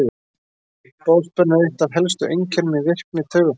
Boðspenna er eitt af helstu einkennum í virkni taugafrumna.